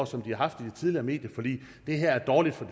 som de har haft i det tidligere medieforlig det her er dårligt for